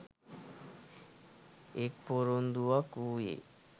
එක් පොරොන්දුවක් වූයේ